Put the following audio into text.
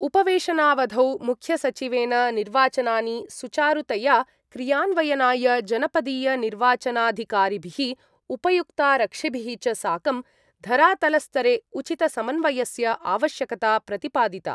उपवेशनावधौ मुख्यसचिवेन निर्वाचनानि सुचारुतया क्रियान्वयनाय जनपदीयनिर्वाचनाधिकारिभिः उपायुक्तारक्षिभिः च साकं धरातलस्तरे उचितसमन्वयस्य आवश्यकता प्रतिपादिता।